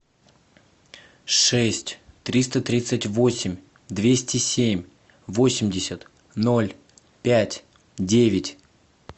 шесть триста тридцать восемь двести семь восемьдесят ноль пять девять